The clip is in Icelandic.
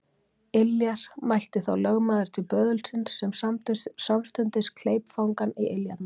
Iljar, mælti þá lögmaður til böðulsins sem samstundis kleip fangann í iljarnar.